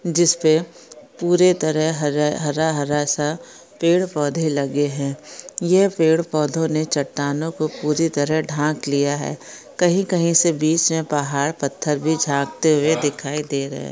जिस पे पूरी तरह से हर हरा-हरा सा पेड़ पौधे लगे है यह पेड़ पौधों ने चट्टानों को पूरी तरह ढाँक लिया है कही-कही से बीच मे पहाड़ पत्थर भी झांकते हुए दिखाई दे रहे है।